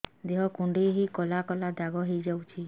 ଦେହ କୁଣ୍ଡେଇ ହେଇ କଳା କଳା ଦାଗ ହେଇଯାଉଛି